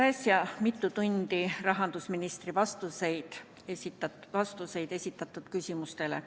Kuulasime just mitu tundi rahandusministri vastuseid esitatud küsimustele.